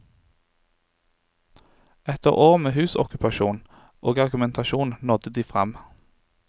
Etter år med husokkupasjon og argumentasjon nådde de frem.